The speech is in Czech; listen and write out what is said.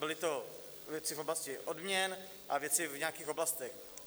Byly to věci v oblasti odměn a věci v nějakých oblastech.